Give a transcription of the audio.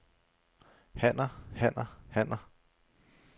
hanner hanner hanner